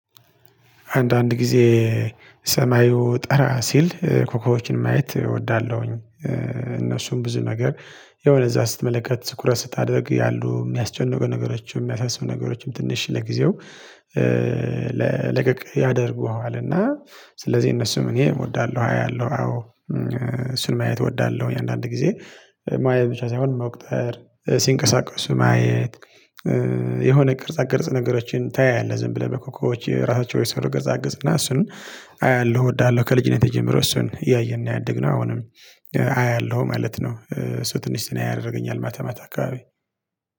አንዳንድ ጊዜ ሰማዩ ጠራ ሲል ኮኮቦችን ማየት እወዳለሁኝ። እነሱም ብዙ ነገር ያው ለዛ ስትመለከት ትኩረት ስታደርግ ያሉ የሚያስጨንቁ ነገሮችም የሚያሳስቡ ነገሮችም ትንሽ ለጊዜው ለቀቅ ያደርጉሃል። እና ስለዚህ እነሱም እኔ እወዳለሁ አያለሁ አዎ እሱን ማየት እወዳለሁኝ። አንዳንድ ጊዜ ማየት ብቻ ሳይሆን መቁጠር ሲንቀሳቀሱ ማየት። የሆነ ቅርጻ ቅርጽ ነገሮችን ታያለህ ዝም ብለህ በኮኮቦች ራሳቸው የሰሩ ቅርጻቅርጽ እና እሱን አያለሁ እወዳለሁ። ከልጅነቴ ጀምሮ እሱን እያየን ነው ያደግነው። አሁንም አያለሁ ማለት ነው። እሱ ትንሽ ዘና ያደረገኛል ማታማታ አካባቢ